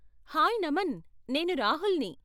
Hi, Naman, నేను రాహుల్ని.